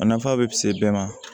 A nafa bɛ se bɛɛ ma